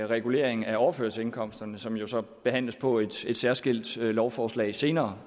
regulering af overførselsindkomsterne som jo så behandles på et særskilt lovforslag senere